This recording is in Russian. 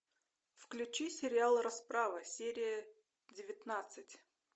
включи сериал расправа серия девятнадцать